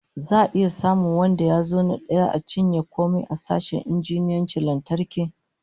Za'a iya samun wanda ya zo na daya ya cinye komai a sashen injiniyancin lantarki?